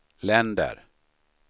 länder